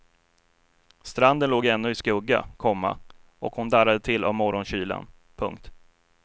Stranden låg ännu i skugga, komma och hon darrade till av morgonkylan. punkt